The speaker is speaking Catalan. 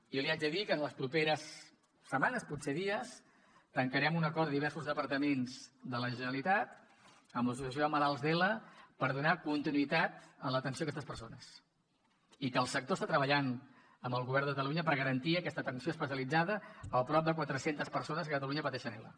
jo li haig de dir que en les properes setmanes potser dies tancarem un acord diversos departaments de la generalitat amb l’associació de malalts d’ela per donar continuïtat en l’atenció a aquestes persones i que el sector està treballant amb el govern de catalunya per garantir aquesta atenció especialitzada al prop de quatre centes persones que a catalunya pateixen ela